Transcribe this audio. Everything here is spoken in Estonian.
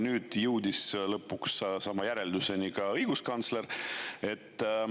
Nüüd jõudis lõpuks samale järeldusele ka õiguskantsler.